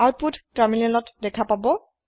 আওতপোত তাৰমিনেলত দেখা পাব